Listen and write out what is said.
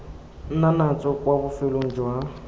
nna natso kwa bofelong jwa